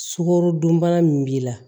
Sukarodunbana min b'i la